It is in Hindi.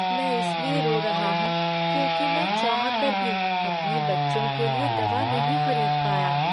मैं इसलिए रो रहा हूँ, क्योंकि मैं चाहकर भी अपने बच्चों के लिए दवा नहीं खरीद पाया।